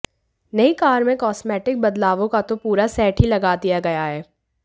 नई कार में कॉस्मेटिक बदलावों का तो पूरा सेट ही लगा दिया गया है